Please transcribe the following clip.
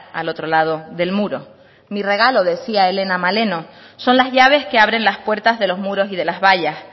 al otro lado del muro mi regalo decía helena maleno son las llaves que abren las puertas de los muros y de las vallas